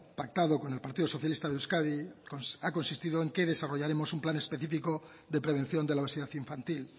pactado con el partido socialista de euskadi ha consistido en que desarrollaremos un plan específico de prevención de la obesidad infantil